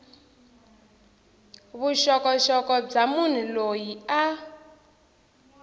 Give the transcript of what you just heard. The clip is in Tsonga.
vuxokoxoko bya munhu loyi a